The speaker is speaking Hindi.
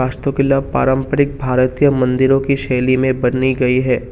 वस्तु किला पारंपरिक भारतीय मंदिरों की शैली में बनी गई है।